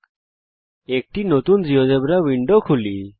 000454 000450 একটি নতুন GeoGebra window খুলি